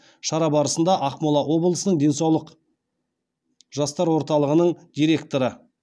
шара барысында ақмола облысының денсаулық жастар орталығының директоры